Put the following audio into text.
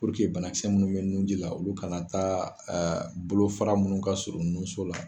bana kisɛ munnu bɛ nun ji la olu kana taa bolo fara munnu ka surun nun so la.